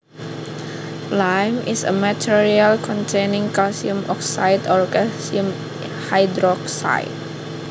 Lime is a material containing calcium oxide or calcium hydroxide